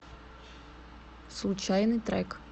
случайный трек